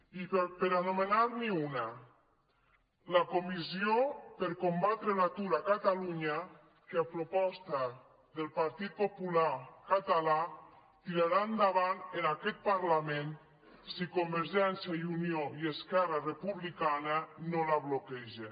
i per anomenar n’hi una la comissió per combatre l’atur a catalunya que a proposta del partit popular català tirarà endavant en aquest parlament si convergència i unió i esquerra republicana no la bloquegen